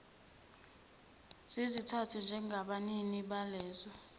zizithathe njengabanini balezo